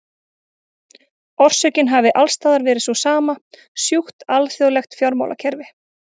Orsökin hafi alls staðar verið sú sama, sjúkt alþjóðlegt fjármálakerfi.